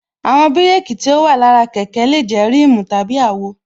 Àwọn bírékī tí ó wà lára kẹ̀kẹ́ lè jẹ́ rimu tàbí àwo